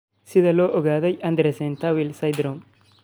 Sidee loo ogaadaa Andersen Tawil syndrome?